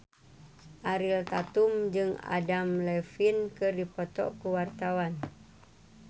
Ariel Tatum jeung Adam Levine keur dipoto ku wartawan